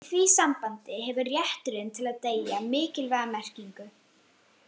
Í því sambandi hefur rétturinn til að deyja mikilvæga merkingu.